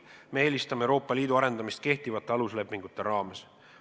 Me eelistame Euroopa Liidu arendamist kehtivate aluslepingute raames.